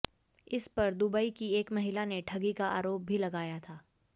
इस पर दुबई की एक महिला ने ठगी का आरोप भी लगाया था